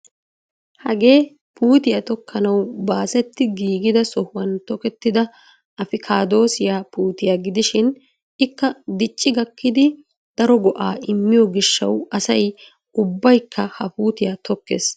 Hagee puutiyaa tookkanawu baasetti giigida sohuwaan tokkettida apikaadosiyaa puutiyaa gidishin ikka dicci gaakkidi daro go"aa immiyoo giishshawu asay ubbaykka ha puutiyaa tokkees.